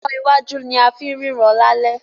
iná wájú ní a fín ríran lalẹ́